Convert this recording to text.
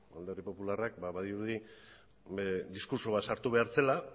alderdi popularrak badirudi diskurtso bat sartu behar zela